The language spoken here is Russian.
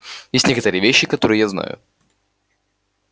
есть некоторые вещи которые я знаю